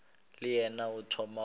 le yena o thoma go